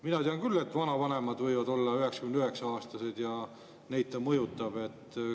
" Mina tean küll, et vanavanemad võivad olla 99-aastased, et neid ta mõjutab.